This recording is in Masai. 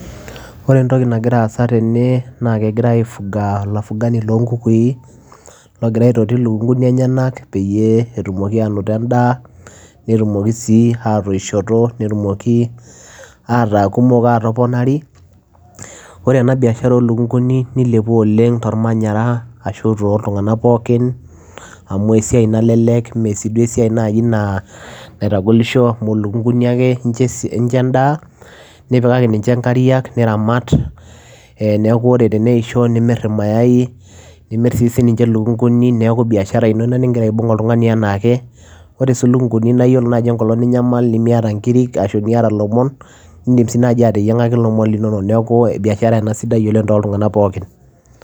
Ore entoki nagira aasa tene naake egirai aifuga, olafugani loo nkukui logira aitoti ilukung'uni enyenak peyie etumoki aanoto endaa, netumoki sii atoishoto, netumoki ataa kumok aatoponari. Ore ena biashara oo lukung'uni nilepua oleng' tormanyara ashu tooltung'anak pookin amu esiai nalelek mee sii duo esiai nai naa naitagolisho amu ilukung'un ake incho es incho endaa, nipikaki ninche inkariak, niramat ee neeku ore teneisho nimir irmayai, nimir sii sinche ilukung'uni neeku biashara ino ina ning'ira aibung' oltungani enaake. Ore sii ilukug'uni naa iyoiolo naaji enkolong ninyamal nemiata inkirik ashu niyata ilomon, iindim sii naaji ateyiang'aki ilomon linonok. Neeku biashara ena sidai oleng' tooltung'anak pookin.